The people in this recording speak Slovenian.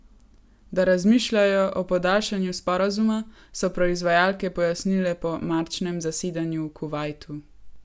Da razmišljajo o podaljšanju sporazuma, so proizvajalke pojasnile po marčnem zasedanju v Kuvajtu.